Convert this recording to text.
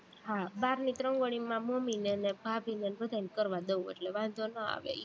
હા, બારની તે રંગોળી મારી મમ્મીને ને ભાભીને બધાને કરવા દવ એટલે વાંધો નો આવે ઈ